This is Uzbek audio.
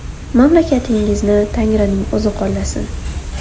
Mamlakatingizni Tangrining o‘zi qo‘llasin.